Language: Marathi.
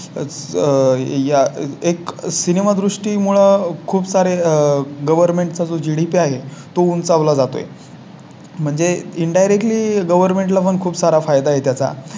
आह आह ह्या एक सिनेमा दृष्टी मुळे खूप सारे government चा जो GDP आहे तो उंचावला जातोय. म्हणजे इन Direct ली Government ला पण खूप सारा फायदा आहे त्याचा